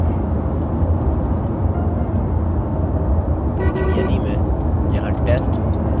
अब यदि मैं यहाँ test या loop कहता हूँ